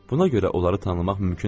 Buna görə onları tanımaq mümkün deyildi.